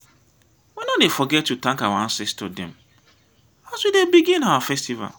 we no dey forget to tank our ancestor dem as we dey begin our festival.